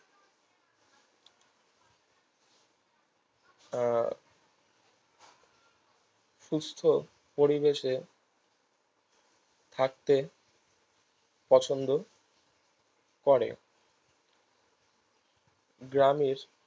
আহ সুস্থ পরিবেশে থাকতে পছন্দ করে গ্রামের